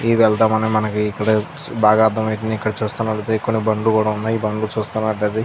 ఈ వెల్దామని మనకి ఇక్కడ బాగా అర్థమైతుంది ఇక్కడ చూస్తూ బడితే ఇక్కడ కొన్ని బండ్లు కూడా ఉన్నాయ్ ఈ బండ్లు చుస్కున్నట్లైతే --